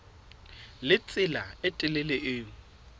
le tsela e telele eo